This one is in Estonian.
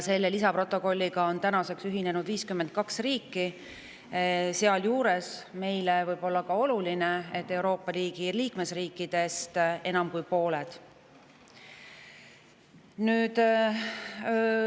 Selle lisaprotokolliga on tänaseks ühinenud 52 riiki, sealjuures võib meie jaoks oluline olla see, et Euroopa Liidu liikmesriikidest enam kui pooled.